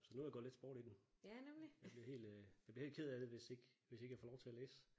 Så nu er der gået lidt sport i den. Jeg bliver helt øh jeg bliver helt ked af det hvis ikke hvis ikke jeg får lov til at læse